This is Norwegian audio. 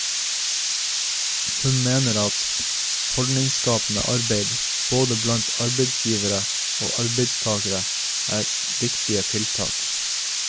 Hun mener at holdningsskapende arbeid både blant arbeidsgivere og arbeidstagere er viktige tiltak.